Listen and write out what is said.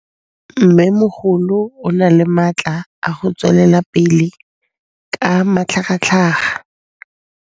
Mmêmogolo o na le matla a go tswelela pele ka matlhagatlhaga.